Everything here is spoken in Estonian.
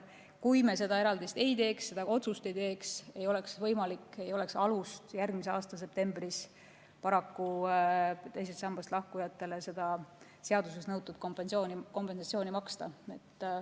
Kui me seda eraldist ei teeks, seda otsust ei teeks, ei oleks võimalik ega oleks alust järgmises septembris teisest sambast lahkujatele seda seaduses nõutud kompensatsiooni maksta.